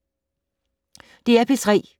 DR P3